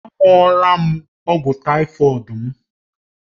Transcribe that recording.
Aṅụọal m ọgwụ tàífọ̀d m